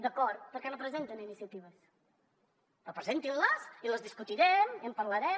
d’acord per què no presenten iniciatives però presentinles i les discutirem i en parlarem